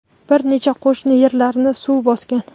bir necha qo‘shni yerlarni suv bosgan.